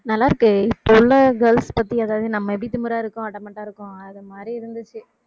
நல்லா இருக்கே இப்ப உள்ள girls பத்தி அதாவது நம்ம எப்படி திமிரா இருக்கோம் adamant ஆ இருக்கோம் அது மாதிரி இருந்துச்சு